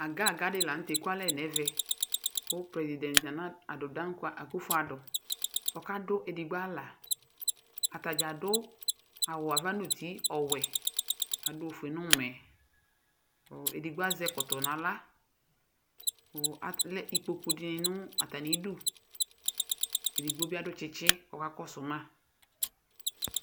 Aga aga dɩnɩ la nʋ tɛ ekualɛ nɛvɛ; kʋ prezidɛt Okunfo Adʋ ɔkadʋ edigbo avaAtanɩ adʋ awʋ ava nuti ɔwɛ, adʋ ofue nʋmɛKʋ edigbo azɛ ɛkɔtɔ naɣla, alɛ ikpoku dɩnɩ nʋ atamiduEdigbo bɩ adʋ tsɩtsɩ kʋ ɔka kɔsʋ ma